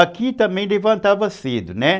Aqui também levantava cedo, né?